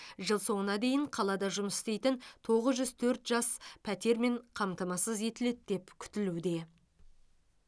жыл соңына дейін қалада жұмыс істейтін тоғыз жүз төрт жас пәтермен қамтамасыз етіледі деп күтілуде